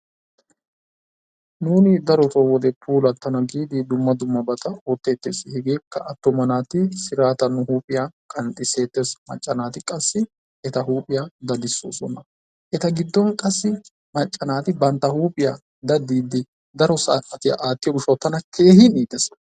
Nuuni darotoo puulattana giidi darobaa ootettees. Hegeekka attuma naati huuphpphiyaa siraatan qanxxisees. Macca naati qassi eta huuphphiyaa daddisoosona. Eta giddon qassi macca naati bantta huuphiyaa daaddiidi daro saatiyaa aattiyoo giishaawu tana keehin iitees.